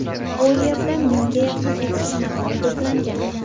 Bu yerda mingga yaqin eksponatlar to‘plangan.